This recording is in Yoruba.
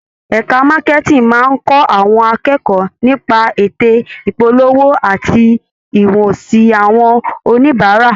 Ẹka Marketing máa ń kọ́ àwọn akẹ́kọ̀ọ́ nípa ète ìpolówó àti ìhùwàsí àwọn oníbàárà.